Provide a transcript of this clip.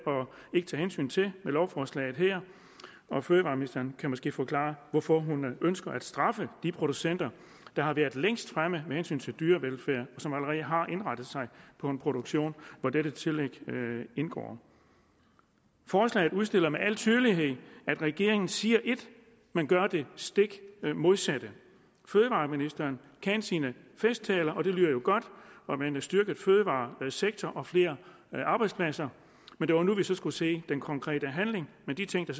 ikke hensyn til med lovforslaget her og fødevareministeren kan måske forklare hvorfor hun ønsker at straffe de producenter der har været længst fremme med hensyn til dyrevelfærd og som allerede har indrettet sig på en produktion hvor dette tillæg indgår forslaget udstiller med al tydelighed at regeringen siger ét man gør det stik modsatte fødevareministeren kan sine festtaler og det lyder jo godt med en styrket fødevaresektor og flere arbejdspladser og det var nu vi så skulle se den konkrete handling men de ting